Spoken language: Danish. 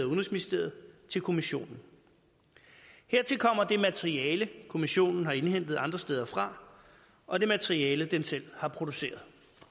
udenrigsministeriet til kommissionen hertil kommer det materiale kommissionen har indhentet andre steder fra og det materiale den selv har produceret